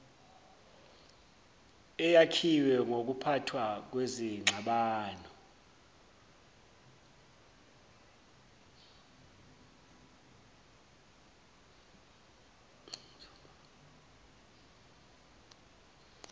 eyakhiwe ngokuphathwa kwezingxabano